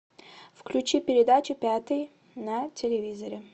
включи передачу пятый на телевизоре